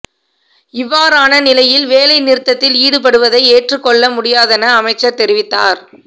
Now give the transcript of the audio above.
இவ்வாறான நிலையில் வேலை நிறுத்தத்தில் ஈடுபடுவதை ஏற்றுக் கொள்ள முடியாதென அமைச்சர் தெரிவித்தார்